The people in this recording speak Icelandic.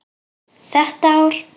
Þetta ár.